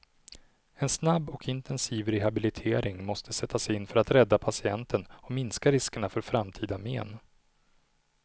En snabb och intensiv rehabilitering måste sättas in för att rädda patienten och minska riskerna för framtida men.